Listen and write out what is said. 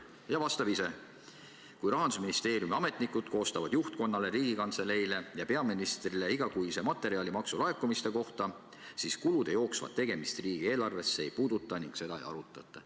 Ja vastab ise: "Kui Rahandusministeeriumi ametnikud koostavad juhtkonnale, Riigikantseleile ja peaministrile igakuise materjali maksulaekumiste kohta, siis kulude jooksvat tegemist riigieelarvest see ei puudutata ning seda ei arutata.